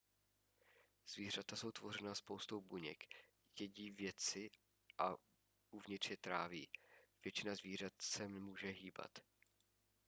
zvířata jsou tvořena spoustou buněk jedí věci a uvnitř je tráví většina zvířat se může hýbat